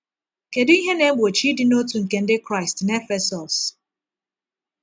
Kedu ihe na-egbochi ịdị n’otu nke Ndị Kraịst na Efesọs?